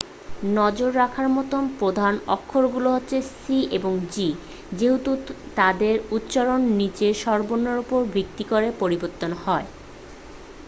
নজর রাখার মত প্রধান অক্ষরগুলি হলো c এবং g যেহেতু তাদের উচ্চারণ নীচের স্বরবর্ণের উপর ভিত্তি করে পরিবর্তিত হয়